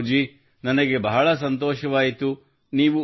ಗೌರವ್ ಜೀ ನನಗೆ ಬಹಳ ಸಂತೋಷವಾಯಿತು